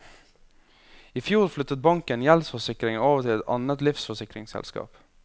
I fjor flyttet banken gjeldsforsikringen over til et annet livsforsikringsselskap.